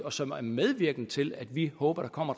og som er medvirkende til at vi håber der kommer